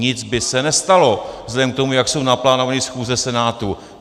Nic by se nestalo vzhledem k tomu, jak jsou naplánovány schůze Senátu.